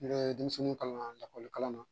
N bɛ denmisɛnninw kalan lakɔlikalan na